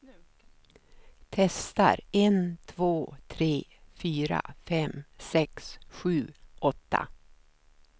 Testar en två tre fyra fem sex sju åtta.